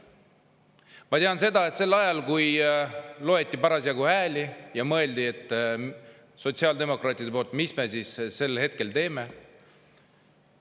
Ma tean seda, et sel ajal, kui parasjagu hääli loeti, siis mõtlesid sotsiaaldemokraadid, mis nad nüüd teevad.